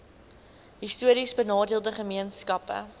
histories benadeelde gemeenskappe